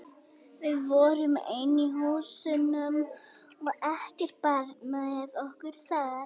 Við vorum ein í húsunum og ekkert barn með okkur þar.